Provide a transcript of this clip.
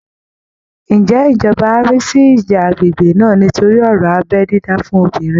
Ǹjẹ́ ìjọba á rí sí ìjà agbègbè náà nítorí ọ̀rọ̀ abẹ́ dídá fún obìnrin?